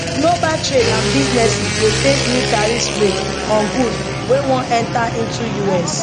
global trade and businesses dey face new tariffs rate on goods wey wan enta into us